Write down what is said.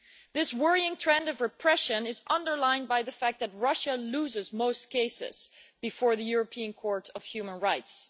This worrying trend of repression is underlined by the fact that Russia loses most cases before the European Court of Human Rights.